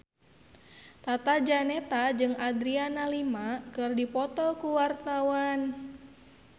Tata Janeta jeung Adriana Lima keur dipoto ku wartawan